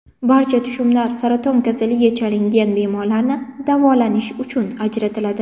Barcha tushumlar saraton kasaliga chalingan bemorlarni davolanish uchun ajratiladi.